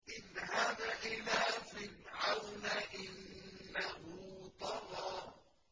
اذْهَبْ إِلَىٰ فِرْعَوْنَ إِنَّهُ طَغَىٰ